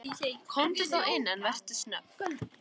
Komdu þá inn, en vertu snögg.